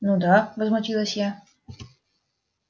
ну да возмутилась я